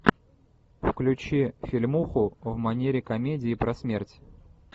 включи фильмуху в манере комедии про смерть